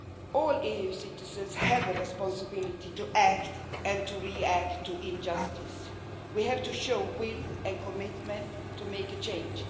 All EU citizens have a responsibility to act and to react to injustice. We have to show will and commitment to make a change.